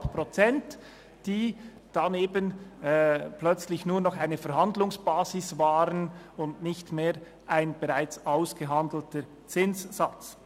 Die 3,5 Prozent waren dann eben plötzlich nur noch eine Verhandlungsbasis und nicht mehr ein bereits ausgehandelter Zinssatz.